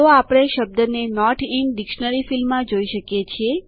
તો આપણે શબ્દને નોટ ઇન ડિક્શનરી ફીલ્ડમાં જોઈ શકીએ છીએ